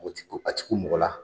A tɛ ku mɔgɔ la